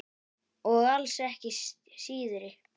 Og alls ekki síðri.